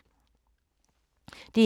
DR1